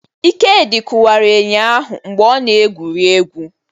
Ikedi kụwara enyo ahụ mgbe ọ na-egwuri egwu.